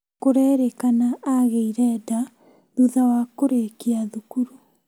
Kũrerĩkana agĩire nda thutha wa kũrĩkia thukuru